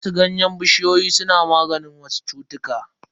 Wasu ganyen bishiyoyi suna maganin wasu cutuka.